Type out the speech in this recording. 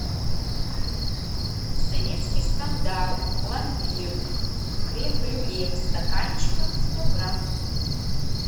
советский стандарт пломбир крем брюле в стаканчиках сто грамм